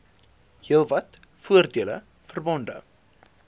heelwat voordele verbonde